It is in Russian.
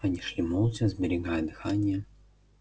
они шли молча сберегая дыхание